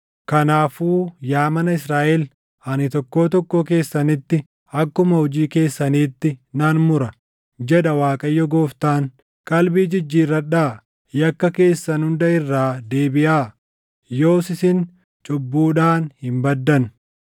“Kanaafuu yaa mana Israaʼel, ani tokkoo tokkoo keessanitti akkuma hojii keessaniitti nan mura, jedha Waaqayyo Gooftaan. Qalbii jijjiirradhaa! Yakka keessan hunda irraa deebiʼaa; yoos isin cubbuudhaan hin baddan.